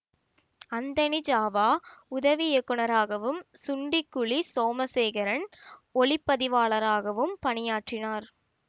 Anthony ஜாவா உதவி இயக்குநராகவும் சுண்டிக்குளி சோமசேகரன் ஒலிப்பதிவாளராகவும் பணியாற்றினார்